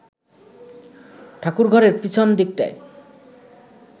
ঠাকুরঘরের পিছন দিকটায়